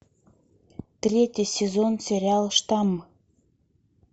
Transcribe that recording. третий сезон сериала штамм